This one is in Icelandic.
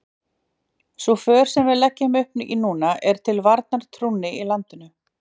Sú för sem við leggjum upp í núna er til varnar trúnni í landinu.